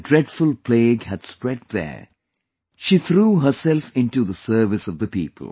When the dreadful plague had spread there, she threw herself into the service of the people